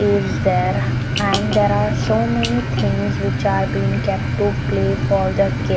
is there and there are so many things which are being kept to play for the kid.